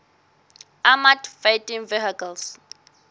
armoured fighting vehicles